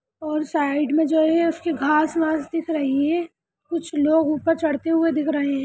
ओर side मे जो है उसकी घास-वास दिख रही है कुछ लोग ऊपर चड़ते हुवे दिख रहे है